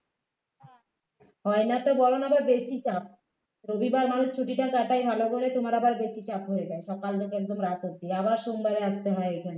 হয় না তো বরং আরো বেশি চাপ রবিবার মানুষ ছুটিটা কাটায় ভালো করে তোমার আবার বেশি চাপ হয়ে যায় সকাল থেকে একদম রাত অবধি আবার সোমবারে আসতে হয় এখানে